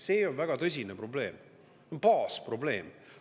See on väga tõsine probleem, see on baasprobleem.